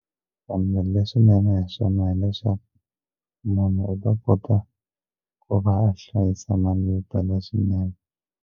Kambe leswinene hi swona hileswaku munhu u ta kota ku va a hlayisa mali yo tala swinene.